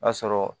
A sɔrɔ